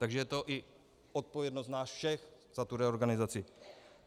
Takže je to i odpovědnost nás všech za tu reorganizaci.